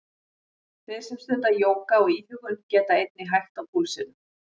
Þeir sem stunda jóga og íhugun geta einnig hægt á púlsinum.